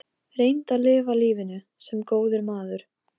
Reyndu að lifa lífinu- sem góður maður.